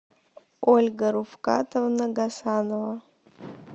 ольга руфкатовна гасанова